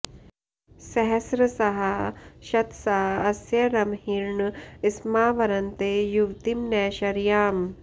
स॒ह॒स्र॒साः श॑त॒सा अ॑स्य॒ रंहि॒र्न स्मा॑ वरन्ते युव॒तिं न शर्या॑म्